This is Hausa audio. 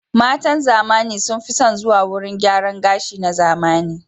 Matan zamani sun fi son zuwa wurin gyaran gashi na zamani.